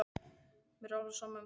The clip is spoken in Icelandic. Mér er alveg sama um það.